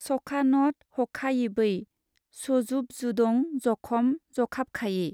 सखानथ हखायिबै सजुबजुदं जखम जखाबखायि।